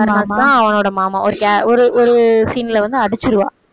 கருணாஸ்தான் அவனோட மாமா ஒரு ஒரு ஒரு scene ல வந்து அடிச்சிருவா